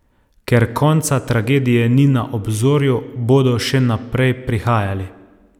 Ker konca tragedije ni na obzorju, bodo še naprej prihajali.